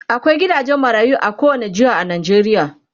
akwai gidajen marayu a kowani jeha a Najeriya